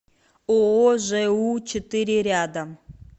ооо жэу четыре рядом